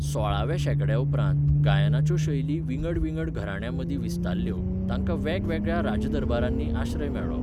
सोळाव्या शेंकड्याउपरांत, गायनाच्यो शैली विंगड विंगड घरांण्यांमदीं विस्तारल्यो, तांकां वेगवेगळ्या राजदरबारांनी आश्रय मेळ्ळो.